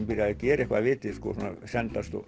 byrjaði að gera eitthvað af viti svona sendast og